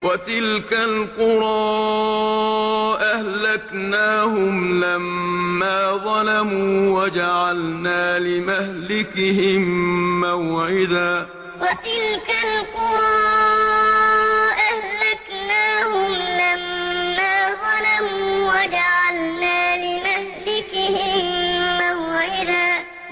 وَتِلْكَ الْقُرَىٰ أَهْلَكْنَاهُمْ لَمَّا ظَلَمُوا وَجَعَلْنَا لِمَهْلِكِهِم مَّوْعِدًا وَتِلْكَ الْقُرَىٰ أَهْلَكْنَاهُمْ لَمَّا ظَلَمُوا وَجَعَلْنَا لِمَهْلِكِهِم مَّوْعِدًا